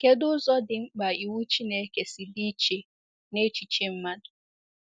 Kedụ ụzọ dị mkpa iwu Chineke si dị iche n’echiche mmadụ?